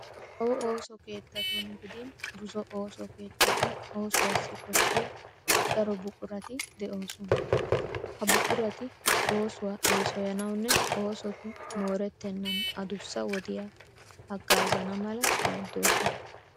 Kawo ooso keettatun gidin buzo ooso keettatun oosuwassi koshshiya daro buqurati de'oosona. Ha buqurati oosuwa eesoyanawunne oosoti moorettennan aduussa wodiya haggaazana mala maaddoosona.